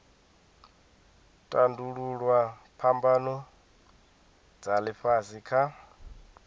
tandululwa phambano dza ifhasi kha